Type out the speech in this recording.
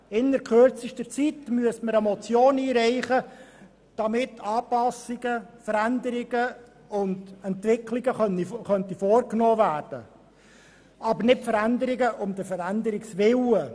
Innert kürzester Zeit müsste man eine Motion einreichen, damit Anpassungen, Veränderungen und Entwicklungen vorgenommen werden könnten, aber nicht Veränderungen um der Veränderung Willen.